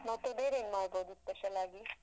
ಮತ್ತೆ ಬೇರೇನ್ ಮಾಡ್ಬೋದು special ಆಗಿ?